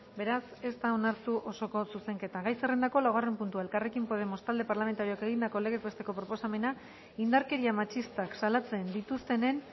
beraz ez da onartu osoko zuzenketa gai zerrendako laugarren puntua elkarrekin podemos talde parlamentarioak egindako legez besteko proposamena indarkeria matxistak salatzen dituztenen